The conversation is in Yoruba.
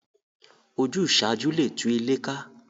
Ojúsàájú le tú ilé ká